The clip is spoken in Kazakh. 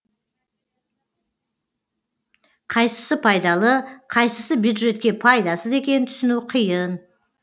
қайсысы пайдалы қайсысы бюджетке пайдасыз екенін түсіну қиын